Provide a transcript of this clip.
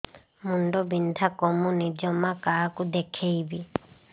ମୁଣ୍ଡ ବିନ୍ଧା କମୁନି ଜମା କାହାକୁ ଦେଖେଇବି